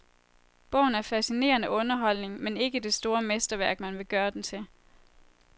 Bogen er fascinerende underholdning, men ikke det store mesterværk, man vil gøre den til.